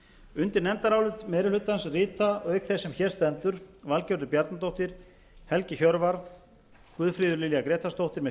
undir nefndarálit meiri hlutans rita auk þess sem hér stendur valgerður bjarnadóttir helgi hjörvar guðfríður lilja grétarsdóttir með